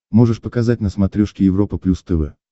можешь показать на смотрешке европа плюс тв